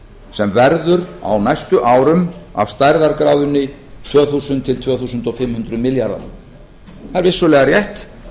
sem verður á næstu árum af stærðargráðunni tvö þúsund til tvö þúsund fimm hundruð milljarðar það er vissulega rétt